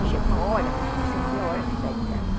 E chega uma hora que você não vê a hora que sai de casa